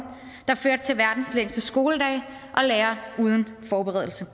der førte til verdens længste skoledage og lærere uden forberedelse